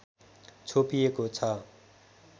छोपिएको छ